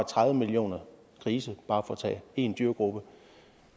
tredive millioner grise bare for at tage en dyregruppe